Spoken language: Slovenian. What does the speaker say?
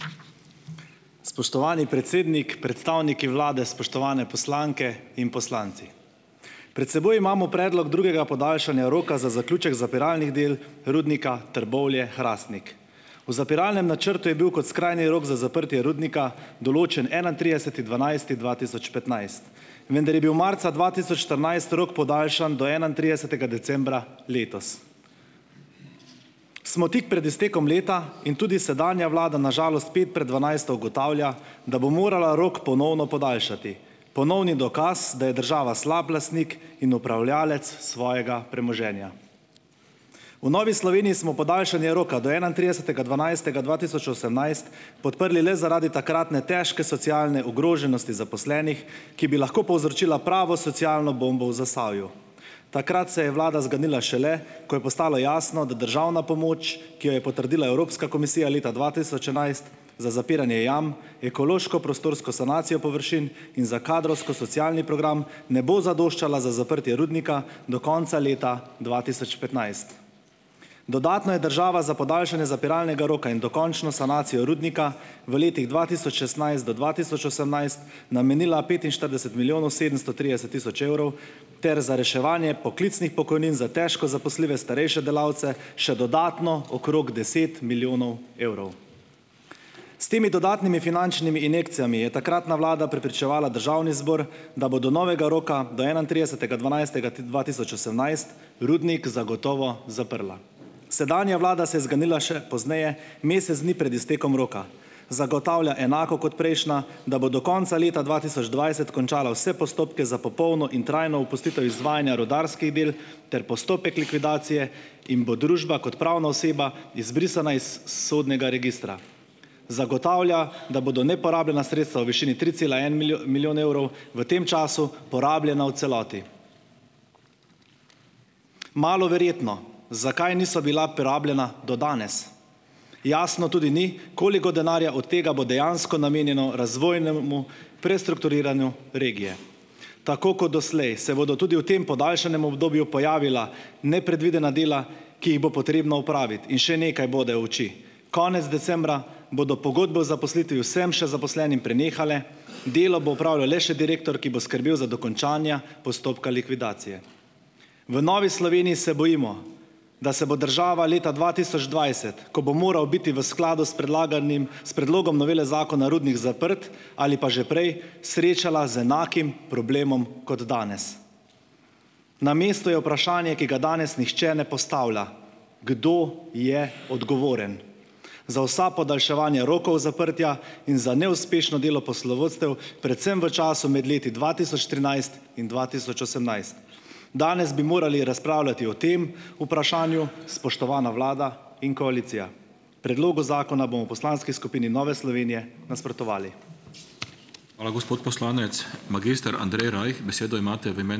Spoštovani predsednik, predstavniki vlade, spoštovane poslanke in poslanci! Pred seboj imamo predlog drugega podaljšanja roka za zaključek zapiralnih del Rudnika Trbovlje-Hrastnik. V zapiralnem načrtu je bil kot skrajni rok za zaprtje rudnika določen enaintrideseti dvanajsti dva tisoč petnajst, vendar je bil marca dva tisoč štirinajst rok podaljšan do enaintridesetega decembra letos. Smo tik pred iztekom leta in tudi sedanja vlada, na žalost, pet pred dvanajsto ugotavlja, da bo morala rok ponovno podaljšati. Ponovni dokaz, da je država slab lastnik in upravljavec svojega premoženja. V Novi Sloveniji smo podaljšanje roka do enaintridesetega dvanajstega dva tisoč osemnajst podprli le zaradi takratne težke socialne ogroženosti zaposlenih, ki bi lahko povzročila pravo socialno bombo v Zasavju. Takrat se je vlada zganila šele, ko je postalo jasno, da državna pomoč, ki jo je potrdila Evropska komisija leta dva tisoč enajst za zapiranje jam, ekološko-prostorsko sanacijo površin in za kadrovsko-socialni program, ne bo zadoščala za zaprtje rudnika do konca leta dva tisoč petnajst. Dodatno je država za podaljšanje zapiralnega roka in dokončno sanacijo rudnika v letih dva tisoč šestnajst do dva tisoč osemnajst namenila petinštirideset milijonov sedemsto trideset tisoč evrov ter za reševanje poklicnih pokojnin za težko zaposljive starejše delavce še dodatno okrog deset milijonov evrov. S temi dodatnimi finančnimi injekcijami je takratna vlada prepričevala državni zbor, da bo do novega roka do enaintridesetega dvanajstega, dva tisoč osemnajst rudnik zagotovo zaprla. Sedanja vlada se je zganila še pozneje, mesec dni pred iztekom roka. Zagotavlja enako kot prejšnja, da bo do konca leta dva tisoč dvajset končala vse postopke za popolno in trajno opustitev izvajanja rudarskih del ter postopek likvidacije in bo družba kot pravna oseba izbrisana iz sodnega registra. Zagotavlja, da bodo neporabljena sredstva v višini tri cela en milijon evrov v tem času porabljena v celoti. Malo verjetno. Zakaj niso bila porabljena do danes? Jasno tudi ni, koliko denarja od tega bo dejansko namenjeno razvojnemu prestrukturiranju regije. Tako kot doslej se bodo tudi v tem podaljšanem obdobju pojavila nepredvidena dela, ki jih bo potrebno opraviti, in še nekaj bode v oči. Konec decembra bodo pogodbe o zaposlitvi vsem še zaposlenim prenehale, delo bo opravljal le še direktor, ki bo skrbel za dokončanje postopka likvidacije. V Novi Sloveniji se bojimo, da se bo država leta dva tisoč dvajset, ko bo moral biti v skladu s predlaganim s predlogom novele zakona rudnik zaprt, ali pa že prej, srečala z enakim problemom kot danes. Na mestu je vprašanje, ki ga danes noče ne postavlja, kdo je odgovoren za vsa podaljševanja rokov zaprtja in za neuspešno delo poslovodstev, predvsem v času med leti dva tisoč trinajst in dva tisoč osemnajst. Danes bi morali razpravljati o tem vprašanju, spoštovana vlada in koalicija. Predlogu zakona bomo v poslanski skupini Nove Slovenije nasprotovali.